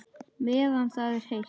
Meðan það er heitt.